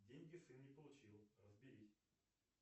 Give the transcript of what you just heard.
деньги сын не получил разберись